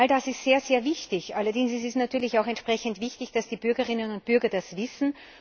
All das ist sehr wichtig. Allerdings ist es natürlich auch entsprechend wichtig, dass die Bürgerinnen und Bürger das wissen.